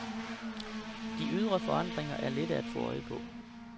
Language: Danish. De ydre forandringer er lette at få øje på.